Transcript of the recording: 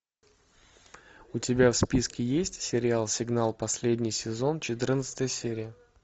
у тебя в списке есть сериал сигнал последний сезон четырнадцатая серия